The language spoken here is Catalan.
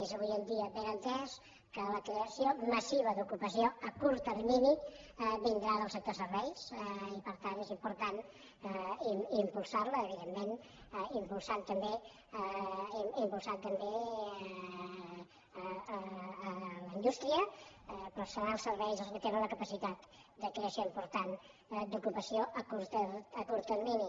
és avui en dia ben entès que la creació massiva d’ocupació a curt termini vindrà del sector serveis i per tant és important impulsar lo evidentment impulsar també la indústria però seran els serveis els que tenen la capacitat de creació important d’ocupació a curt termini